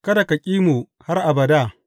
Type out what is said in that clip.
Kada ka ƙi mu har abada.